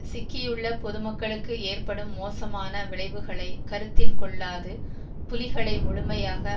சிக்கியுள்ள பொதுமக்களுக்கு ஏற்படும் மோசமான விளைவுகளை கருத்தில் கொள்ளாது புலிகளை முழுமையாக